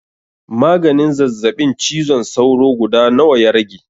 Maganin zazzaɓin cizon sauro guda nawa ya rage?